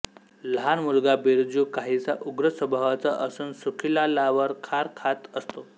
लहान मुलगा बिरजू काहीसा उग्र स्वभावाचा असून सुखीलालावर खार खात असतो